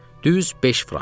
Düz beş frank.